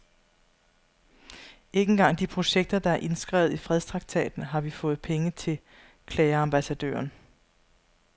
Ikke engang de projekter, der er indskrevet i fredstraktaten har vi fået penge til, klager ambassadøren.